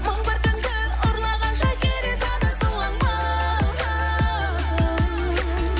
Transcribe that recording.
мың бір түнді ұрлаған шахирезада сылаңмын